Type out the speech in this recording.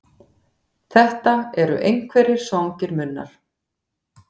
Þetta eru einhverjir svangir munnar.